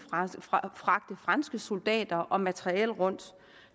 fragte franske soldater og materiel rundt